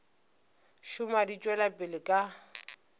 šoma di tšwela pele ka